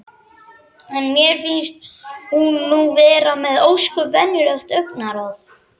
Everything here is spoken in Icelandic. En mér finnst hún nú vera með ósköp venjulegt augnaráð.